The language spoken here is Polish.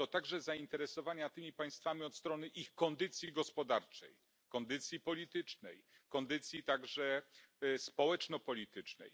To także zainteresowania tymi państwami od strony ich kondycji gospodarczej, kondycji politycznej, kondycji także społeczno politycznej.